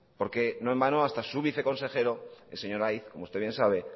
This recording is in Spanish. porque no en vano hasta su viceconsejero el señor aiz como usted bien sabe